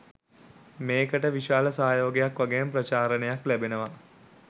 මේකට විශාල සහයෝගයක් වගේම ප්‍රචාරණයක් ලැබෙනවා